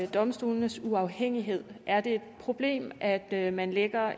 domstolenes uafhængighed er det et problem at at man lægger